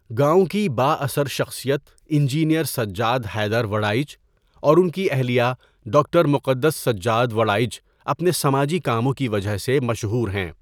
گاؤں کی با اثر شخصیت انجنیر سجاد حیدر وڑاءچ اور ان اھلیئہ ڈاکٹر مقدس سجاد وڑاءچ اپنے سماجی کاموں کی وجہ سے مشہور ہیں.